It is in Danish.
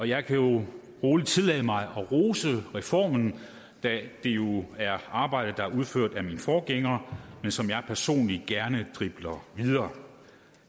jeg kan jo roligt tillade mig at rose reformen da det jo er arbejde der er udført af min forgænger men som jeg personligt gerne dribler videre